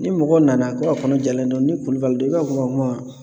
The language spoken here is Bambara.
Ni mɔgɔ nana ko a kɔnɔjalen don ni kulubali i b'a fɔ ko o kuma